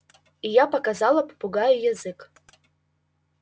и я показала попугаю язык